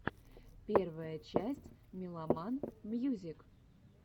первая часть меломан мьюзик